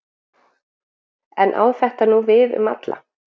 En á þetta nú við um alla?